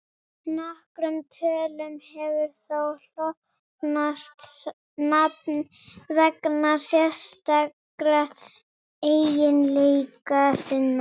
Nokkrum tölum hefur þó hlotnast nafn vegna sérstakra eiginleika sinna.